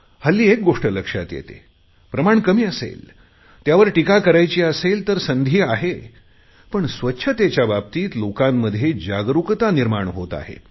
हल्ली एक गोष्ट लक्षात येते प्रमाण कमी असेल त्यावर टीका करायचली असेल तर संधी आहे पण स्वच्छतेच्या बाबतीत लोकांमध्ये जागरुकता निर्माण होत आहे